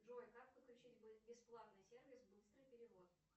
джой как подключить бесплатный сервис быстрый перевод